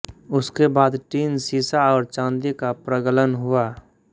उसके बाद टिन सीसा और चाँदी का प्रगलन हुआ